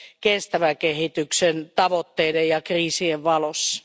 kestävän kehityksen tavoitteiden ja kriisien valossa.